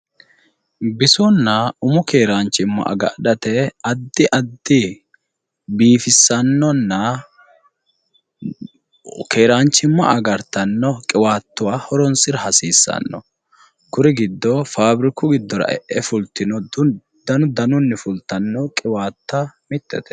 Bisonaa umu keeraanchimma agadhate addi addi biifisannonna keeranchimma agartanno qiwaatuwa horoonsira hasiissanno kuri giddo faabiriku giddora e'e fultino danu danunni fultanno qiwaatta mittete.